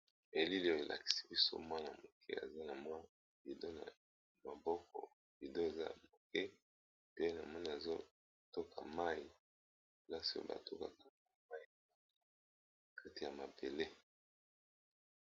Elili oyo elakisi biso mwana moke aza na mwa bidon na maboko bidon eza moke pe na moni azotoka mayi place ba to bako kati ya mabele.